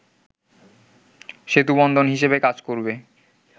সেতুবন্ধন হিসেবে কাজ করবে